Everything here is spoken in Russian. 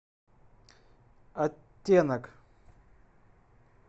оттенок